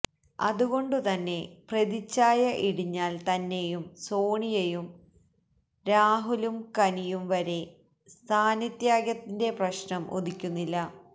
അതുകൊണ്ടു തന്നെ പ്രതിഛായ ഇടിഞ്ഞാല് തന്നെയും സോണിയയും രാഹുലും കനിയും വരെ സ്ഥാനത്യാഗത്തിന്റെ പ്രശ്നം ഉദിക്കുന്നില്ല